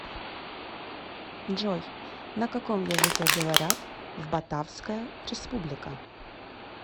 джой на каком языке говорят в батавская республика